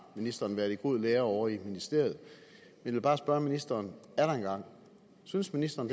ministeren været i god lære ovre i ministeriet jeg vil bare spørge ministeren atter en gang synes ministeren